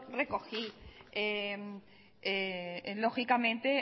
recogí lógicamente